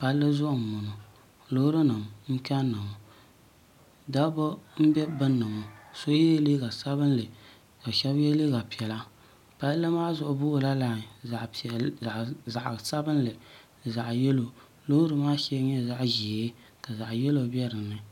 palli zuɣu n boŋo loori nim n kanna ŋo dabba n bɛ gbunni ŋo shab yɛla liiga sabinli ka shab yɛ liiga piɛla palli maa zuɣu boola lai zaɣ sabinli zaɣ yɛlo loori maa shɛli nyɛla zaɣ ʒiɛ ka zaɣ yɛlo bɛ dinni